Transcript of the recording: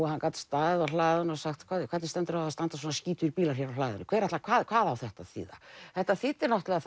hann gat staðið á hlaðinu og sagt hvernig stendur á því að það standa svona skítugir bílar hér á hlaðinu hvað hvað hvað á þetta að þýða þetta þýddi náttúrulega